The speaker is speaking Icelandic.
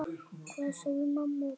Hvað sögðu mamma og pabbi?